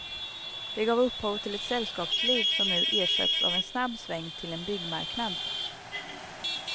Det gav upphov till ett sällskapsliv som nu ersatts av en snabb sväng till en byggmarknad.